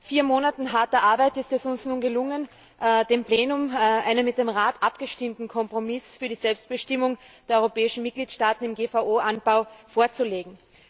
Nach vier Monaten harter Arbeit ist es uns nun gelungen, dem Plenum einen mit dem Rat abgestimmten Kompromiss für die Selbstbestimmung der europäischen Mitgliedstaaten im GVO Anbau vorzulegen.